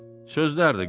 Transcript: Sözlərdi qızım.